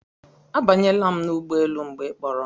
Abanyela m n'ụgbọelu mgbe ị kpọrọ m